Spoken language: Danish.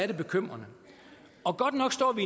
jo bekymrende godt nok står vi